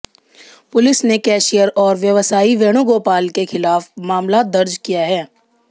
police ने cashier और व्यवसायी वेणुगोपाल के खिलाफ मामला दर्ज किया है